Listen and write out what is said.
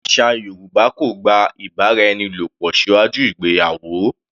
Àṣà Yorùbá kò gba ìbáraẹnilòpò síwájú ìgbéyàwó.